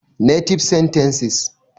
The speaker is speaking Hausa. Native Sentences